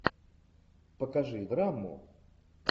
покажи драму